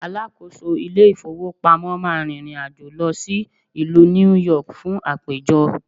alákóso ilé ifowópamọ́ ma rìrìn àjò lọ sí ìlú New York fun àpéjọ